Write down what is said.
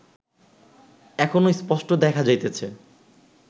এখনো স্পষ্ট দেখা যাইতেছে